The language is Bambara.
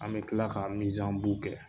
An bɛ kila ka kɛ.